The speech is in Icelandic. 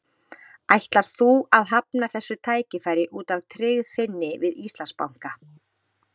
Ætlar þú að hafna þessu tækifæri út af tryggð þinni við Íslandsbanka?